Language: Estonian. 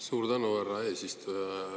Suur tänu, härra eesistuja!